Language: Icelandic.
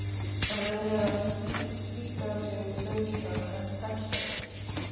Hann reynir að slíta sig lausan en tekst ekki.